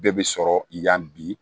Bɛɛ bɛ sɔrɔ yan bi